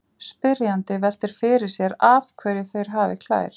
Spyrjandi veltir fyrir sér af hverju þeir hafi klær.